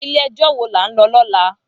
Ilé èjò wó lá n lò lòlá?